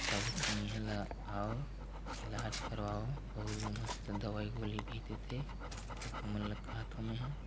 सब इंहा ला आओ इलाज करवाओ आउ मस्त दवाई गोली भी देथे त तुमन ल कहाथो मे ह--